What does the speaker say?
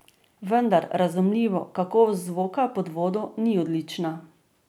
Vendar, razumljivo, kakovost zvoka pod vodo ni odlična.